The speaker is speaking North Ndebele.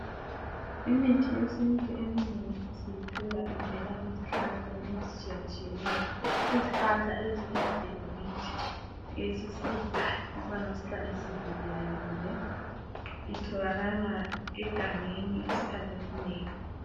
Imithi yesintu eminengi siyithola ivela ezihlahleni ezitshiyatshiyeneyo. Izihlahla eziyimvelo kithi esisizayo ukubana sihlale sivikelekile. Itholakala egangeni isikhathi esinengi.